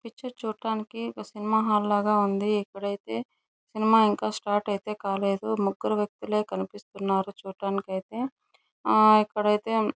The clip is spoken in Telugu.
పిక్చర్ చూడటానికి ఒక సినిమా హాల్ లాగ ఉంది ఇప్పుడైతే సినిమా ఇంకా స్టార్ట్ అయితే కాలేదు ముగ్గురు వ్యక్తులే కనిపిస్తున్నారు చుడానికి అయితే ఆ ఇక్కడ అయితే --